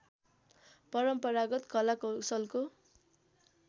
परम्परगत कला कौशलको